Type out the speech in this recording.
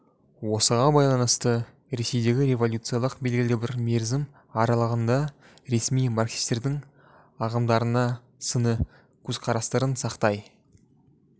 осыған байланысты ресейдегі революциялық белгілі бір мерзім аралығанда ресми марксистердің ағымдарына сыни көзқарастарын сақтай